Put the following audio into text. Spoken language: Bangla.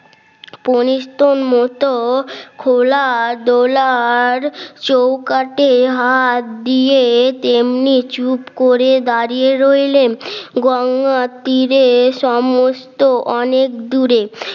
পনিতন মত খোলা ডলার চৌকাঠে হাত দিয়ে তেমনি চুপ করে দাঁড়িয়ে রইলেন গঙ্গার তীরে সমস্ত অনেক দূরে